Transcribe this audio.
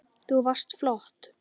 Þú varst flott